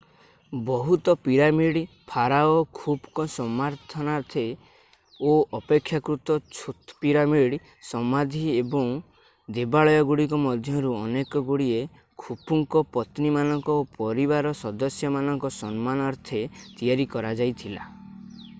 ବୃହତ pyramid pharaoh ଖୁଫୁଙ୍କ ସମ୍ମାନାର୍ଥେ ଓ ଅପେକ୍ଷାକୃତ ଛୋତ ପିରାମିଡ୍ ସମାଧି ଓ ଦେବାଳୟଗୁଡ଼ିକ ମଧ୍ୟରୁ ଅନେକଗୁଡ଼ିଏ ଖୁଫୁଙ୍କ ପତ୍ନୀମାନଙ୍କ ଓ ପରିବାର ସଦସ୍ୟମାନଙ୍କ ସମ୍ମାନାର୍ଥେ ତିଆରି କରାଯାଇଥିଲା